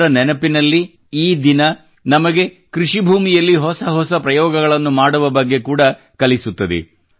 ಅವರ ನೆನಪಿನಲ್ಲಿ ಈ ದಿನ ನಮಗೆ ಕೃಷಿ ನೆಲದಲ್ಲಿ ಹೊಸ ಹೊಸ ಪ್ರಯೋಗಗಳನ್ನು ಮಾಡುವ ಬಗ್ಗೆ ಕೂಡ ಕಲಿಸುತ್ತದೆ